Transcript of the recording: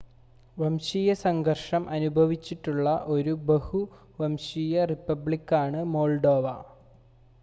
വംശീയ സംഘർഷം അനുഭവിച്ചിട്ടുള്ള ഒരു ബഹു-വംശീയ റിപ്പബ്ലിക്കാണ് മോൾഡോവ